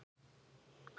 Hirðin neitaði því.